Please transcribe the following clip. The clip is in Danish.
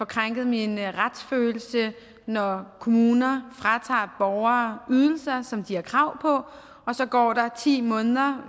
krænket i min retsfølelse når kommuner fratager borgere ydelser som de har krav på så går der ti måneder